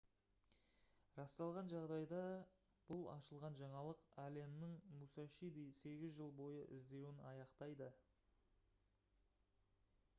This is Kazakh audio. расталған жағдайда бұл ашылған жаңалық алленнің мусашиді сегіз жыл бойы іздеуін аяқтайды